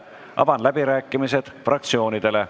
Avan läbirääkimised fraktsioonidele.